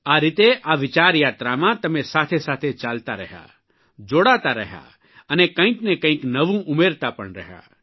આ રીતે આ વિચાર યાત્રામાં તમે સાથેસાથે ચાલતા રહ્યા જોડાતા રહ્યા અને કંઇકને કંઇક નવું ઉમેરતા પણ રહ્યા